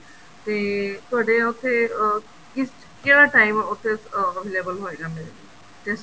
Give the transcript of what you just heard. ਤੇ ਤੁਹਾਡੇ ਉੱਥੇ ਅਹ ਕਿਸ ਕਿਹੜਾ time ਉੱਥੇ available ਹੋਏਗਾ ਮੇਰੇ ਲਈ test